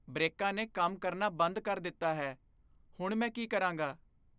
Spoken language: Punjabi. ਬ੍ਰੇਕਾਂ ਨੇ ਕੰਮ ਕਰਨਾ ਬੰਦ ਕਰ ਦਿੱਤਾ ਹੈ। ਹੁਣ, ਮੈਂ ਕੀ ਕਰਾਂਗਾ?